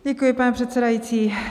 Děkuji, pane předsedající.